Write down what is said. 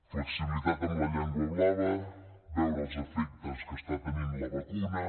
flexibilitat amb la llengua blava veure els efectes que està tenint la vacuna